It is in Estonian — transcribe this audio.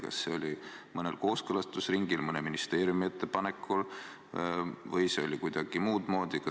Kas see oli mõnel kooskõlastusringil, mõne ministeeriumi ettepanekul või oli see kuidagi muud moodi?